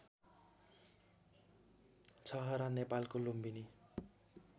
छहरा नेपालको लुम्बिनी